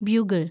bugle‍